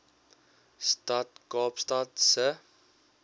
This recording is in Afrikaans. stad kaapstad se